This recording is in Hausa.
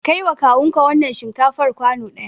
Kai wa kawun ka wannan shinkafar kwano ɗaya!